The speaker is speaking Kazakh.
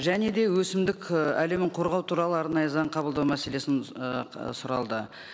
және де өсімдік ііі әлемін қоғау туралы арнайы заң қабылдау мәселесін сұралды